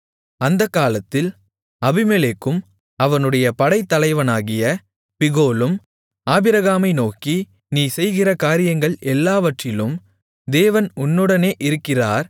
அந்தகாலத்தில் அபிமெலேக்கும் அவனுடைய படைத்தலைவனாகிய பிகோலும் ஆபிரகாமை நோக்கி நீ செய்கிற காரியங்கள் எல்லாவற்றிலும் தேவன் உன்னுடனே இருக்கிறார்